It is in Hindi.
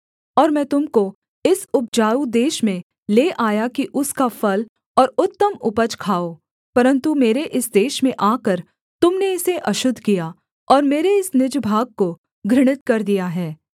और मैं तुम को इस उपजाऊ देश में ले आया कि उसका फल और उत्तम उपज खाओ परन्तु मेरे इस देश में आकर तुम ने इसे अशुद्ध किया और मेरे इस निज भाग को घृणित कर दिया है